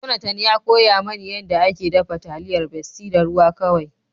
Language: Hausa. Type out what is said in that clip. Jonathan ya koya ma ni yanda ake dafa taliyar besti da ruwa kawai.